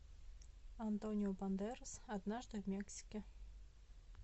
антонио бандерас однажды в мексике